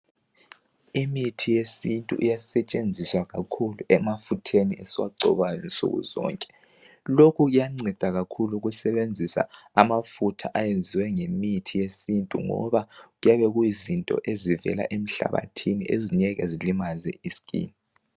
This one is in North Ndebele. Imithi yesintu iyasetshenziswa kakhulu emafutheni esiwagcobayo nsukuzonke. Lokhu kuyanceda kakhulu ukusebenzisa amafutha ayeziwe ngemithi yesintu ngoba kuyabe kuyizinto ezivela emhlabathini ezingeke zilimaze i-skin.